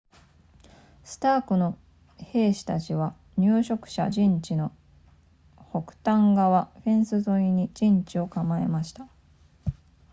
スタークの兵士たちは入植者陣地の北端側フェンス沿いに陣地を構えました